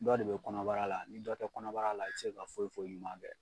Dɔ de be kɔnɔbara la, ni dɔ tɛ kɔnɔbara la i ti se ka foyi foyi ɲuman kɛ.